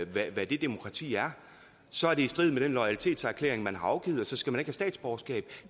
hvad hvad det demokrati er så er det i strid med den loyalitetserklæring man har afgivet og så skal man ikke have statsborgerskab